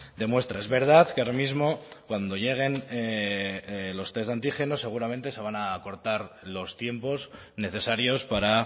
de muestra es verdad que ahora mismo cuando lleguen los test de antígenos seguramente se van a acortar los tiempos necesarios para